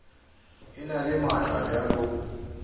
e na le maatla bjalo